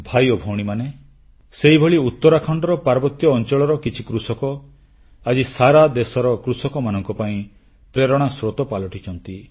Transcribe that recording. ଭାଇ ଓ ଭଉଣୀମାନେ ସେହିଭଳି ଉତ୍ତରାଖଣ୍ଡର ପାର୍ବତ୍ୟ ଅଂଚଳର କିଛି କୃଷକ ଆଜି ସାରା ଦେଶର କୃଷକମାନଙ୍କ ପାଇଁ ପ୍ରେରଣାର ସ୍ରୋତ ପାଲଟିଛନ୍ତି